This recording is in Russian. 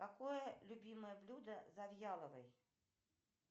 какое любимое блюдо завьяловой